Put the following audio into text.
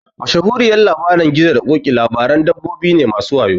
Mashahuriyar Labarin gizo da ƙoki labaran dabbobi ne masu wayo